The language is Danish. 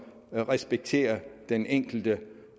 respekterer den enkelte